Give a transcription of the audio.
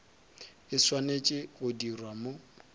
e swanetše go dirwa mo